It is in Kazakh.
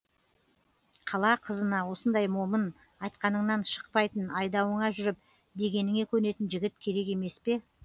қала қызына осындай момын айтқаныңнан шықпайтын айдауыңа жүріп дегеніңе көнетін жігіт керек емес пе